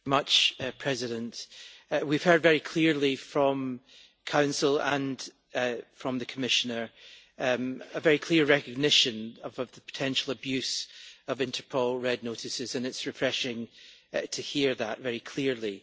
Madam President, we have heard very clearly from the Council and from the Commissioner a very clear recognition of a potential abuse of Interpol Red Notices, and it is refreshing to hear that very clearly.